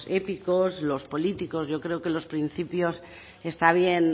épicos los políticos yo creo que los principios está bien